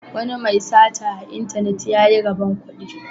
Wani mai sata a intanet ya yi rabon kudi.